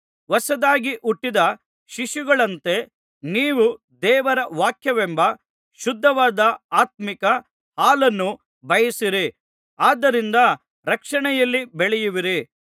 ಹೊಸದಾಗಿ ಹುಟ್ಟಿದ ಶಿಶುಗಳಂತೆ ನೀವು ದೇವರ ವಾಕ್ಯವೆಂಬ ಶುದ್ಧವಾದ ಆತ್ಮೀಕ ಹಾಲನ್ನು ಬಯಸಿರಿ ಆದರಿಂದ ರಕ್ಷಣೆಯಲ್ಲಿ ಬೆಳೆಯುವಿರಿ